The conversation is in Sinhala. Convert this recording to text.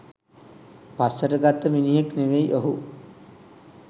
පස්සට ගත්ත මිනිහෙක් නෙවෙයි ඔහු.